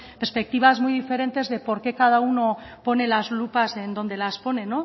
perspectivas muy diferentes de por qué cada uno pone las lupas donde las pone